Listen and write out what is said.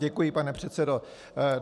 Děkuji, pane předsedo.